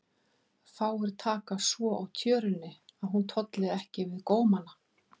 Fáir taka svo á tjörunni að hún tolli ekki við gómana.